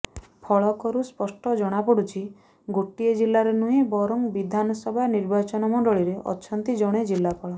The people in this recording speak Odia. ଫଳକରୁ ସ୍ପଷ୍ଟ ଜଣାପଡ଼ୁଛି ଗୋଟିଏ ଜିଲ୍ଲାରେ ନୁହେଁ ବରଂ ବିଧାନସଭା ନିର୍ବାଚନ ମଣ୍ଡଳୀରେ ଅଛନ୍ତି ଜଣେ ଜିଲ୍ଲାପାଳ